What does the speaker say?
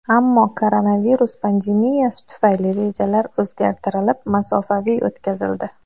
Ammo koronavirus pandemiyasi tufayli rejalar o‘zgartirilib, masofaviy o‘tkazildi.